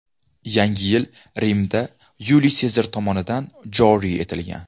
Yangi yil Rimda Yuliy Sezar tomonidan joriy etilgan.